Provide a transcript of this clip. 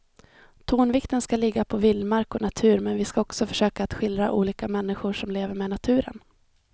Tonvikten ska ligga på vildmark och natur men vi ska också försöka att skildra olika människor som lever med naturen.